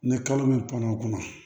Ni kalo min panna o kunna